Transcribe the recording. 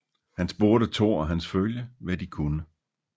Han spurgte Thor og hans følge hvad de kunne